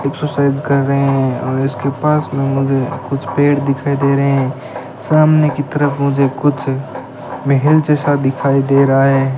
Exercise कर रहे हैं और इसके पास में मुझे कुछ पेड़ दिखाई दे रहे हैं सामने की तरफ मुझे कुछ महल जैसा दिखाई दे रहा है।